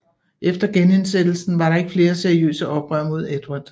Efter genindsættelsen var der ikke flere seriøse oprør mod Edvard